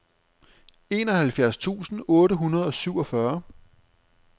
enoghalvfjerds tusind otte hundrede og syvogfyrre